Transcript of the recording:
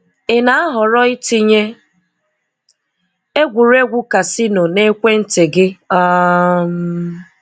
Ị na-ahọ́rọ̀ ịtinye egwúregwu casino n’ekwéntì gị? um